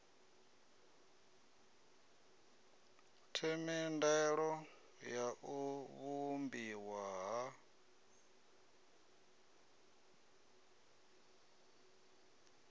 themendelo ya u vhumbiwa ha